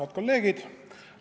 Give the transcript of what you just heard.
Head kolleegid!